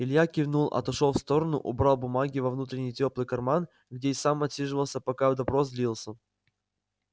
илья кивнул отошёл в сторону убрал бумаги во внутренний тёплый карман где и сам отсиживался пока допрос длился